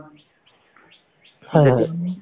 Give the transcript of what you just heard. হয় হয়